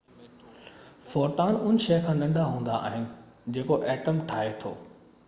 photon ان شئي کان ننڍا هوندا آهن جيڪو ايٽم ٺاهي ٿو